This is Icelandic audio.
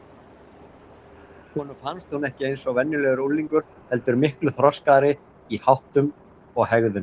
Honum fannst hún ekki eins og venjulegur unglingur heldur miklu þroskaðri í háttum og hegðun.